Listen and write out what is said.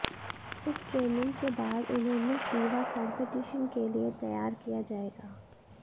इस ट्रेनिंग के बाद उन्हें मिस दीवा कंपीटीशन के लिए तैयार किया जाएगा